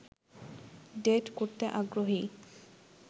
date করতে আগ্রহী